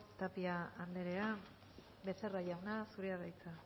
tapia anderea becerra jauna zurea da hitza